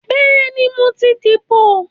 Bẹ́ẹ̀ni, mo ti dìbò